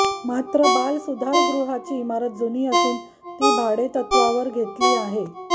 मात्र बालसुधारगृहाची इमारत जुनी असून ती भाडेतत्वावर घेतलेली आङे